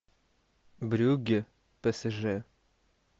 брюгге псж